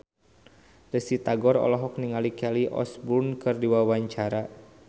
Risty Tagor olohok ningali Kelly Osbourne keur diwawancara